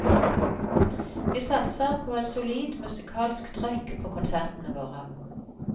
Vi satser på et solid musikalsk trøkk på konsertene våre.